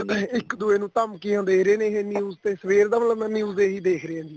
ing ਇੱਕ ਦੂਏ ਨੂੰ ਧਮਕੀਆਂ ਦੇ ਰਹੇ ਨੇ news ਤੇ ਸਵੇਰ ਦਾ ਮਤਲਬ ਮੈਂ news ਤੇ ਇਹੀ ਦੇਖ ਰਿਹਾ ਜੀ